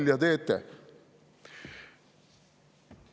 Nalja teete!